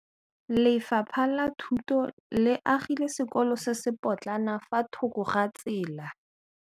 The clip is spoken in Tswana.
Lefapha la Thuto le agile sekôlô se se pôtlana fa thoko ga tsela.